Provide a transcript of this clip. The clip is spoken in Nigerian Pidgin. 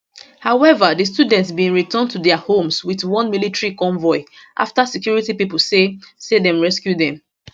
however di students bin return to dia homes wit one military convoy afta security pipo say say dem rescue dem